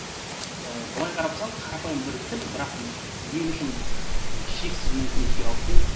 ыыы былай қарап тұрсаңыз қарапайым бір тіл бірақ мен үшін шексіз мүмкіндіктер алып келді